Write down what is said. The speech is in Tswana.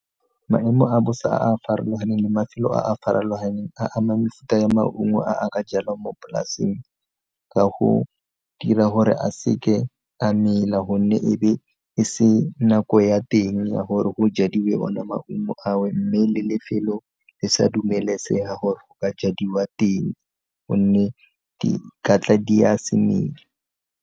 Maemo a bosa a a farologaneng le mafelo a a farologaneng a ama mefuta ya maungo a a ka jalwang mo polaseng ka go dira gore a seke a mela gonne ebe e se nako ya teng ya gore go jadiwe ona maungo ao mme le lefelo le sa dumelesega gore go ka jadiwa teng gonne di katla di a se mele.